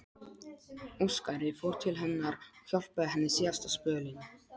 Óskari, fór til hennar og hjálpaði henni síðasta spölinn.